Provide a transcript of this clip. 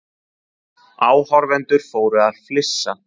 Áhorfendur fóru að flissa.